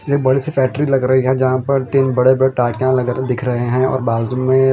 यह बड़ी सी फेक्ट्री लग रही है जहाँ पर तिन बड़े टाकिया दिख रहे है और बाजू में--